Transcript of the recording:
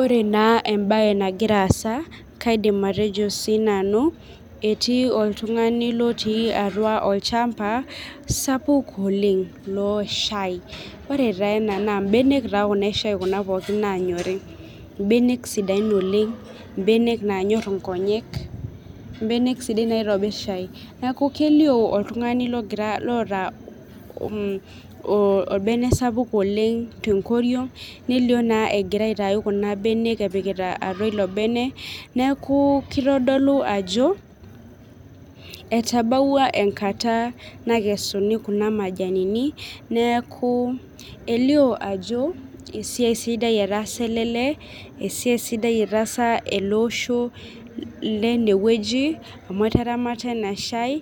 Ore naa embaye nagira aasa kaidim atejo siinanu etii oltung'ani lotii atua olchamba sapuk loshai ore taa ena naa imbenek taa kuna eshai kuna pookin nanyori imbenek sidain oleng imbenek nanyorr inkonyek imbenek sidain naitobirr shai neku kelio oltung'ani logira loota mh o orbene sapuk oleng tenkoriong nelio is a naa egira aitai kuna benek epikita atia ilo bene neeku kitodolu ajo etabawua enkata nakesuni kuna majanini neeku elio ajo esiai sidai etaasa ele lee esiai sidai etaasa ele osho lenewueji amu etaramata ena shai